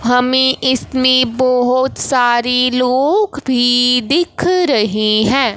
हमें इसमें बहोत सारी लोग भी दिख रहे है।